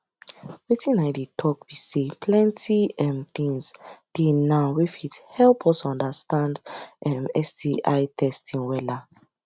wetin i dey talk be say plenty um things dey now wey fit help us understand um sti testing wella